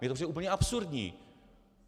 Mně to přijde úplně absurdní!